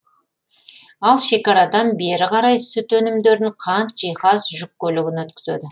ал шекарадан бері қарай сүт өнімдерін қант жиһаз жүк көлігін өткізеді